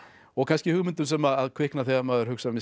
og kannski hugmyndum sem kvikna þegar maður hugsar með sér